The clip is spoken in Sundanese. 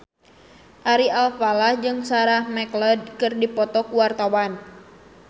Ari Alfalah jeung Sarah McLeod keur dipoto ku wartawan